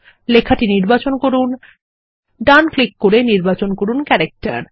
লেখাটি নির্বাচন করুন এবং ডান ক্লিক করে নির্বাচন করুন ক্যারেক্টার